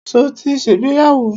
Ṣo ti ṣègbéyàwó?